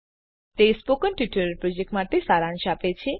તે spoken tutorial પ્રોજેક્ટનો સારાંશ આપે છે